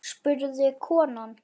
spurði konan.